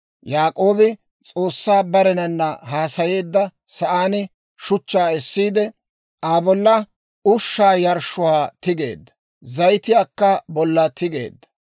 Yaak'oobi S'oossay barenana haasayeedda sa'aan shuchchaa essiide, Aa bolla ushshaa yarshshuwaa tigeedda; zayitiyaakka bolla tigeedda.